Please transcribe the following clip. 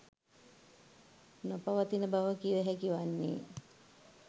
නොපවතින බව කිව හැකි වන්නේ.